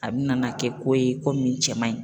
A bi na na kɛ ko ye ko min cɛ man ɲi